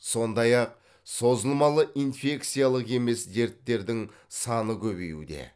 сондай ақ созылмалы инфекциялық емес дерттердің саны көбеюде